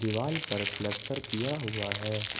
दीवाल पर प्लास्टर किया हुआ है।